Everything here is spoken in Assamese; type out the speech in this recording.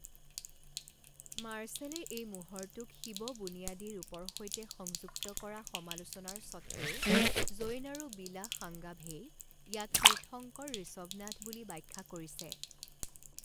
মাৰ্শ্বেলে এই মোহৰটোক শিৱ বুনিয়াদী ৰূপৰ সৈতে সংযুক্ত কৰা সমালোচনাৰ সত্ত্বেও জৈন আৰু বিলাস সাংগাভেই ইয়াক তীৰ্থংকৰ ঋষভনাথ বুলি ব্যাখ্যা কৰিছে।